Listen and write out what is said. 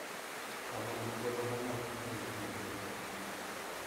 Kama ni thuolo ma nyalo ting`o ji mang`eny.